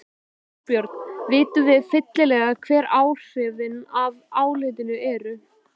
Þorbjörn, vitum við fyllilega hver áhrifin af álitinu eru?